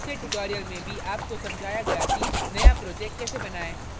पिछले tutorial में भी आपको समझाया गया कि नया project कैसे बनाएँ